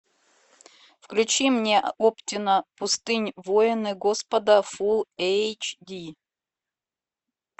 включи мне оптина пустынь воины господа фулл эйч ди